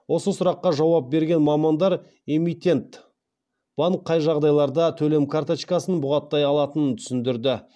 осы сұраққа жауап берген мамандар эмитент банк қай жағдайларда төлем карточкасын бұғаттай алатынын түсіндірді